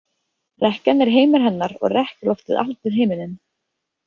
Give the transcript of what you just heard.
Rekkjan er heimur hennar og rekkjuloftið allur himinninn.